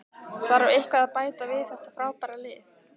Þarf eitthvað að bæta við þetta frábæra lið?